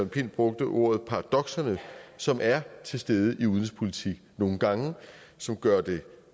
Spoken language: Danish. pind brugte ordet paradokserne som er til stede i udenrigspolitik nogle gange og som gør det